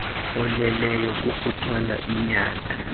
oleleyo kukuthwala inyanda